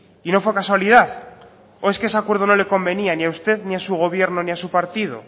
y no fue casualidad o es qué ese acuerdo no le convenía ni a usted ni a su gobierno ni a su partido